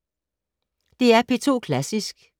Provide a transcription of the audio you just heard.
DR P2 Klassisk